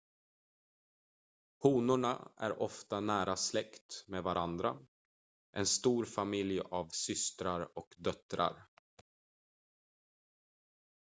honorna är ofta nära släkt med varandra en stor familj av systrar och döttrar